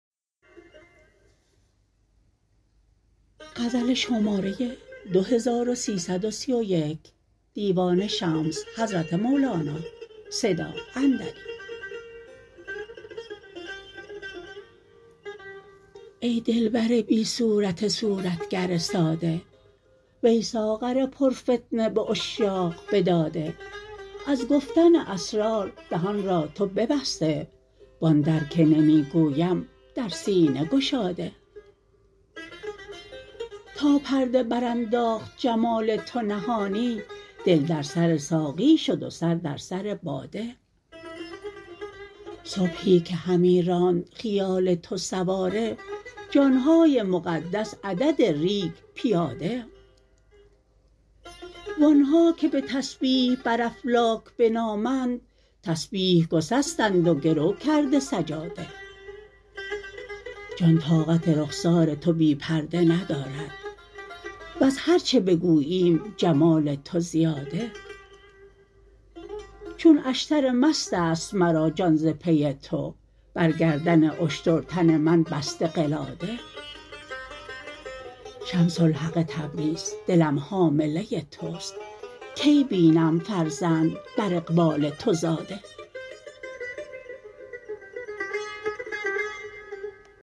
ای دلبر بی صورت صورتگر ساده وی ساغر پرفتنه به عشاق بداده از گفتن اسرار دهان را تو ببسته و آن در که نمی گویم در سینه گشاده تا پرده برانداخت جمال تو نهانی دل در سر ساقی شد و سر در سر باده صبحی که همی راند خیال تو سواره جان های مقدس عدد ریگ پیاده و آن ها که به تسبیح بر افلاک بنامند تسبیح گسستند و گرو کرده سجاده جان طاقت رخسار تو بی پرده ندارد وز هر چه بگوییم جمال تو زیاده چون اشتر مست است مرا جان ز پی تو بر گردن اشتر تن من بسته قلاده شمس الحق تبریز دلم حامله توست کی بینم فرزند بر اقبال تو زاده